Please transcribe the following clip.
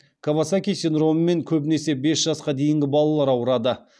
кавасаки синдромымен көбінесе бес жасқа дейінгі балалар ауырады